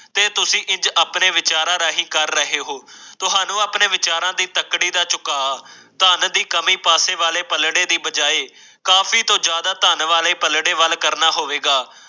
ਤੇ ਤੁਸੀਂ ਆਪਣੇ ਵਿਚਾਰਾਂ ਰਾਹੀਂ ਕਰ ਰਹੇ ਹੋ ਤੁਹਾਨੂੰ ਆਪਣੇ ਵਿਚਾਰਾਂ ਦੇ ਤਕੜੇ ਦਾ ਝੁਕਾਅ ਧਨ ਦੀ ਕਮੀ ਦੇ ਪਲੜੇ ਦੇ ਵਜਾਏ ਕਾਫੀ ਤੋਂ ਜਿਆਦਾ ਪੜੇ ਵਾਲੇ ਵੱਲ ਕਰਨਾ ਹੋਵੇਗਾ